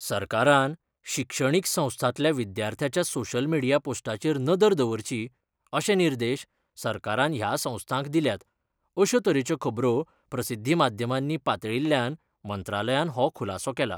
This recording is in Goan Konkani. सरकारान शिक्षणिक संस्थांतल्या विद्यार्थ्याच्या सोशियल मीडिया पोस्टाचेर नजर दवरची, अशे निर्देश सरकारान ह्या संस्थांक दिल्यात, अश्यो तरेच्यो खबरो प्रसिध्दीमाध्यमानी पातळील्ल्यान मंत्रालयान हो खुलासो केला.